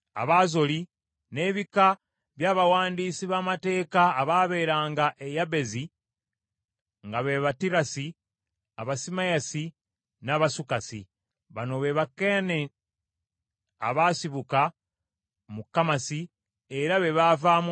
n’ebika by’abawandiisi b’amateeka abaabeeranga e Yabezi, nga be b’Abatirasi, Abasimeyasi, n’Abasukasi. Bano be Bakeeni abasibuka mu Kammasi, era be baavaamu oluggya lwa Lekabu.